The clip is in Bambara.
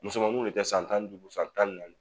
Musomaniw de bɛ kɛ san tan ni duuru san tan ni naani.